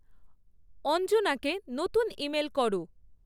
অঞ্জনাকে নতুন ইমেল করো